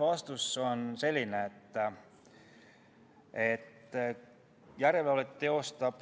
Vastus on selline, et järelevalvet teostab